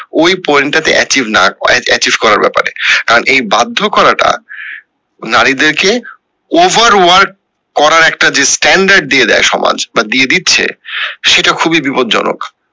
ওই point টা তে একইনা achieve করার ব্যাপারে কারণ এই বাধ্য করাটা নারীদের কে over work করার একটি যে standard দিয়ে দেয় সমাজ বা দিয়ে দিচ্ছে সেটা খুবই বিপজ্জনক